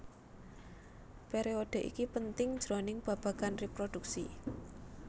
Periodhe iki penting jroning babagan reproduksi